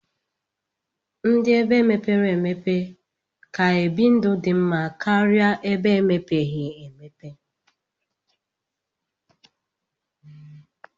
Ndi ebe mepere emeope ka ebi ndụ di mma karia ebe emepeghi emepe.